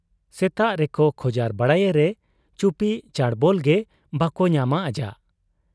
ᱥᱮᱛᱟᱜ ᱨᱮᱠᱚ ᱠᱷᱚᱡᱟᱨ ᱵᱟᱲᱟᱭᱮᱨᱮ ᱪᱩᱯᱤ ᱪᱟᱸᱰᱵᱚᱞ ᱜᱮ ᱵᱟᱠᱚ ᱧᱟᱢᱟ ᱟᱡᱟᱜ ᱾